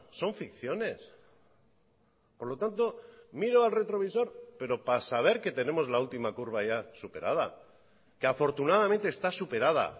son ficciones por lo tanto miro al retrovisor pero para saber que tenemos la última curva ya superada que afortunadamente está superada